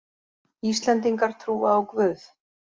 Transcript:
Íslendingar trúa á Guð